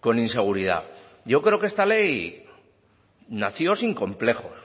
con inseguridad yo creo que esta ley nació sin complejos